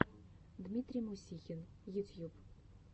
дмитрий мусихин ютьюб